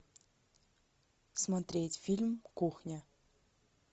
смотреть фильм кухня